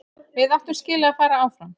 Við áttum skilið að fara áfram.